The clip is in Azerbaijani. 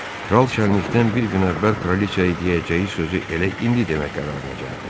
Kral şənlikdən bir gün əvvəl kraliçaya deyəcəyi sözü elə indi demək qərarına gəldi.